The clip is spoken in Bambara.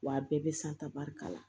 Wa a bɛɛ bɛ san tan barika la